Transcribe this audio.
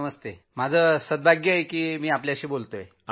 नमस्कार जी । माझं सौभाग्य आहे की मी आपल्याशी बोलतो आहे